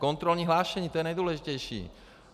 Kontrolní hlášení, to je nejdůležitější.